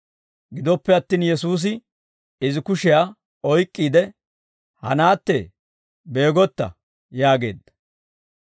Gidoppe attin Yesuusi izi kushiyaa oyk'k'iide, «Ha naattee, beegotta!» yaageedda.